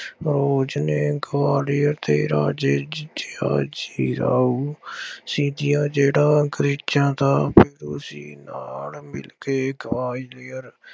ਨੇ ਗਵਾਲੀਅਰ ਦੇ ਰਾਜੇ ਜੀ ਰਾਉ ਸੀਤੀਆ ਜਿਹੜਾ ਕ੍ਰਿਸਚਨਾਂ ਦਾ ਸੀ ਨਾਲ ਮਿਲਕੇ ਗਵਾਲੀਅਰ